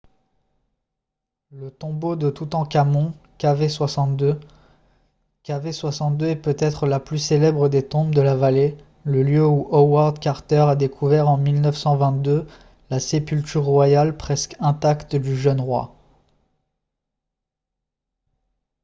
le tombeau de toutankhamon kv62. kv62 est peut-être la plus célèbre des tombes de la vallée le lieu où howard carter a découvert en 1922 la sépulture royale presque intacte du jeune roi